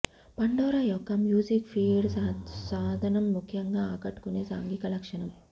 Pandora యొక్క music feed సాధనం ముఖ్యంగా ఆకట్టుకునే సాంఘిక లక్షణం